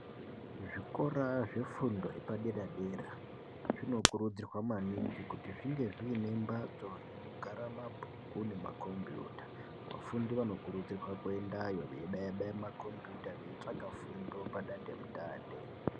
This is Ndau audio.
Kuzvikora zvefundo yepadera dera zvinokurudzirwa maningi kuti zvinge zvine mbatso inogara mabhuku nemakombiyuta. Vafundi vanokurudzirwawo kuti vamboendeyo vembobaya baya veitsvage fundo padande mutande.